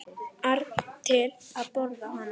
ar til að borða hana.